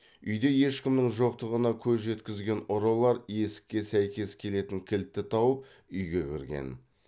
үйде ешкімнің жоқтығына көз жеткізген ұрылар есікке сәйкес келетін кілтті тауып үйге кірген